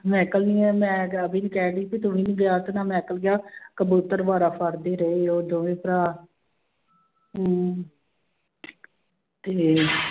ਮੈਕਲ ਨੀ ਹੈ ਮੈਂ ਰਾਵੀ ਨੂੰ ਕਹਿਣਡੀ ਸੀ ਕਿ ਤੂੰ ਵੀ ਨੀ ਗਿਆ ਤੇ ਨਾ ਮਾਇਕਲ ਗਿਆ ਕਬੂਤਰ ਬੜਾ ਫੜਦੇ ਰਹੇ ਉਹ ਦੋਵੇਂ ਭਰਾ ਹਮ ਤੇ